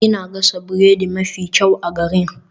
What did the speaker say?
Ina gasa burodi mafi kyau a garin.